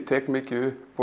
tek mikið upp